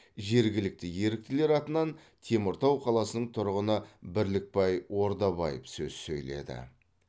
жергілікті еріктілер атынан теміртау қаласының тұрғыны бірлікбай ордабаев сөз сөйледі